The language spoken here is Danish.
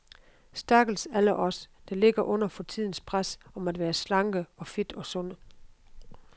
Stakkels alle os, der ligger under for tidens pres om at være slanke og fit og sunde.